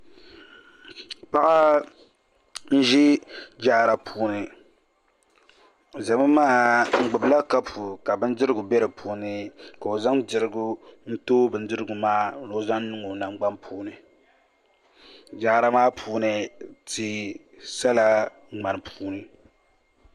Paɣa n ʒi jaara puuni o gbubila kapu ka bindirigu bɛ di puuni ka o zaŋ dirigu n too bindirigu maa ni o zaŋ niŋ o nangbani puuni jaara maa puuni tia sala ŋmani puuni